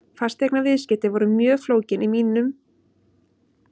Fasteignaviðskipti voru mjög flókin í huga mínum og fjarri því að vera raunhæfur möguleiki.